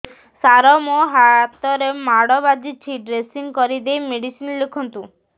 ସାର ମୋ ହାତରେ ମାଡ଼ ବାଜିଛି ଡ୍ରେସିଂ କରିଦେଇ ମେଡିସିନ ଲେଖନ୍ତୁ